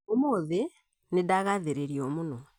ũmũthĩ nĩ ndagathĩrĩrio mũno